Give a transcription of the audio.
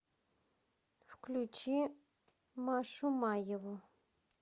включи машу маеву